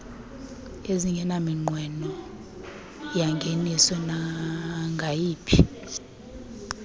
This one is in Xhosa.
ezingenaminqweno yangeniso nangayiphi